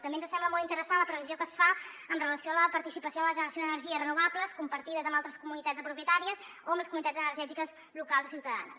també ens sembla molt interessant la previsió que es fa amb relació a la participació en la generació d’energies renovables compartides amb altres comunitats de propietàries o amb les comunitats energètiques locals o ciutadanes